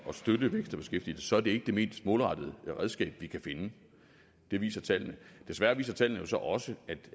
støtte vækst og beskæftigelse er det ikke det mest målrettede redskab vi kan finde det viser tallene desværre viser tallene jo så også